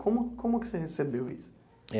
Como como que você recebeu isso?